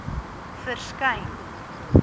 verskyn